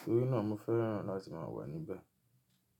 Torí náà mo fẹ́ràn láti máa wà níbẹ̀